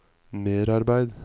merarbeid